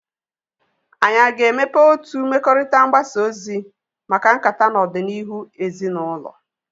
Anyị aga-emepe otu mmekọrịta mgbasa ozi maka nkata na ọganihu ezinaụlọ?